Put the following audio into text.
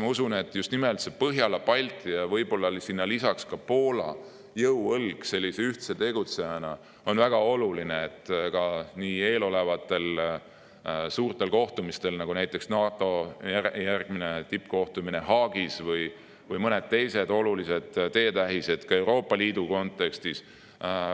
Ma usun, et just nimelt Põhjala-Balti ja võib-olla lisaks ka Poola jõuõlg sellise ühtse tegutsejana on väga oluline, nii et eelolevatel suurtel kohtumistel, näiteks NATO järgmisel tippkohtumisel Haagis või mõnel teisel olulisel teetähisel Euroopa Liidu kontekstis